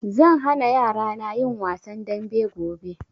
Zan hana yarana yin wasan dambe gobe